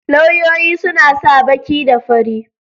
Lauyoyi suna sa baki da fari.